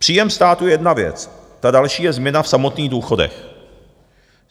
Příjem státu je jedna věc, ta další je změna v samotných důchodech.